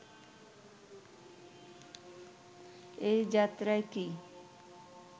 এ যাত্রায় কি